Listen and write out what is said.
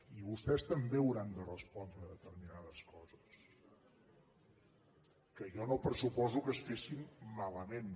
i vostès també hauran de respondre a determinades coses que jo no pressuposo que es fessin malament